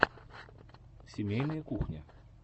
семейная кухня